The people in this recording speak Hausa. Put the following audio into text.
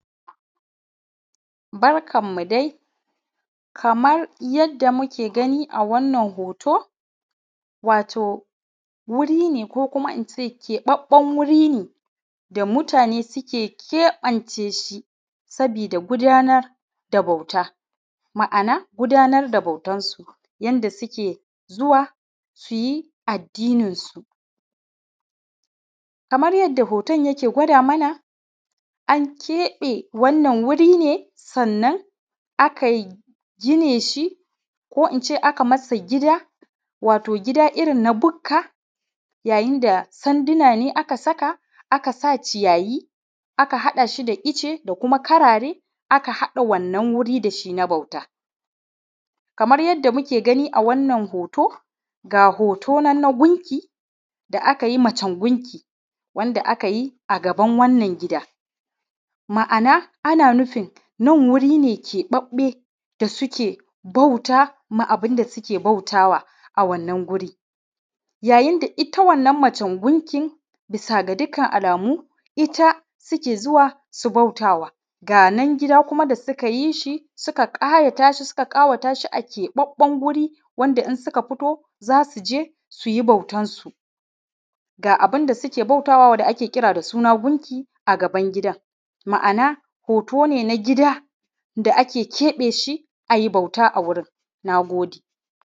Barkanmu dai kamar yadda muke ganin a wannan hoto wuri ne ko in ce keɓaɓɓen wuri ne da mutane suke keɓance sabida gudanar da bauta, ma'ana gudanar da bautar su inda suke zuwa su yi addininsu. Kamar yadda hoton yake gwanda mana an keɓe wannan wuri ne sannan a kai gine shi ko in ce a a kai masa gida irin na bukka, sanduna ne aka saka a ka sa, ciyayi da icce da kuma karare aka haɗa wannan wurin na bauta. Kamar yadda muke gani a wannan hoto, ga hoto nan na gunki da aka yi macen gunki wansa aka yi a gaban wannan gida, ma'ana ana nufin gun wuri ne keɓaɓɓen da suke Bauta wa abun da suke bautawa yayin da ita wannan macen gunkin bisa ga dukkan alamu ita suke zuwa su bautawa ga nan gidan kuma da suka yi shi suka sa shi a keɓaɓɓen wuri wanda in suka fito za su je su yi bautansu, ga abunda suke bautawa da ake kira da suna gunki a gaban gidan. Ma'ana hoto ne na gida da ake keɓe shi a yi bauta a wurin. Na gode.